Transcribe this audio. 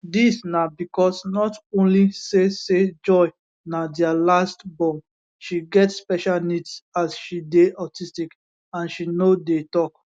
dis na becos not only say say joy na dia last born she get special needs as she dey autistic and she no dey tok